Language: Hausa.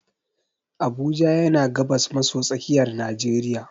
Abuja yana gabas maso tsakiyar najeriya.